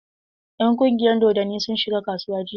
Ƴan ƙungiyar dodonni sun shiga kasuwa jiya.